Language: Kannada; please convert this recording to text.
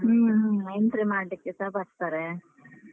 ಹ್ಮ ಹ್ಮ entry ಮಾಡ್ಲಿಕ್ಕೆಸ ಬರ್ತಾರೆ.